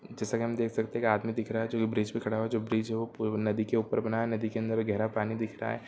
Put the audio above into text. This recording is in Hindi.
जैसा की हम देख सकते है आदमी दिख रहा है जो ये ब्रिज पे खड़ा है जो ये ब्रिज है नदी के ऊपर बना है नदी के अंदर गहरा पानी दिख रहा है।